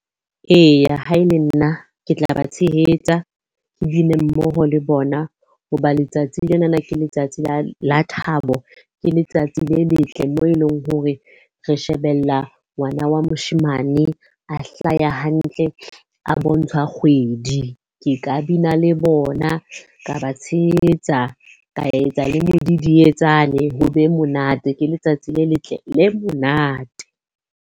Eya, ha e le nna ke tla ba tshehetsa, ke bine mmoho le bona hoba letsatsing lenana ke letsatsi la thabo. Ke letsatsi le letle moo e leng hore re shebella ngwana wa moshemane a hlaya hantle, a bontshwa kgwedi. Ke ka bina le bona, ka ba tshehetsa, ka etsa le modidietsane ho be monate. Ke letsatsi le letle le monate.